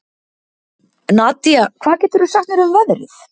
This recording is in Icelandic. Nadía, hvað geturðu sagt mér um veðrið?